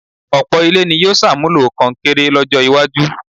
ọ̀pọ̀ ilé ni yóò ṣàmúlò kọnkéré lọ́jọ́-iwájú.